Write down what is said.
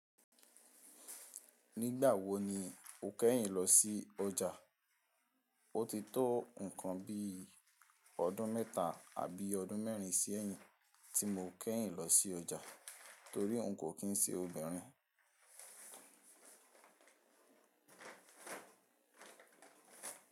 Nígbà wo ni o kẹ́yìn lọ sí ọjà? O ti tó nǹkan bi ọdún mẹ́ta àbí ọdún mẹ́rin sí ẹ̀yìn tí mo kẹ́yìn lọ sí ọjà torí n kò kín se obìnrin.